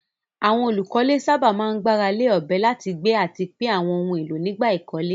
Àwọn olùkọ́lé sábà máa ń gbára lé ọ̀bẹ láti gbé àti pín àwọn ohun èlò nígbà ìkọ́lé.